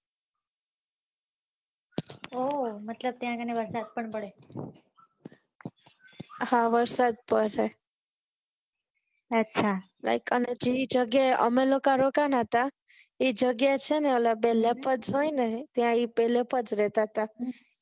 હા વરસાદ પડશે like જે જગ્યાએ અમે લોકા રોકાણા હતા એ જગ્યાએ છે ને બે leopards હોઈ ને ત્યાં એ પેહલે થી રેહતા હતા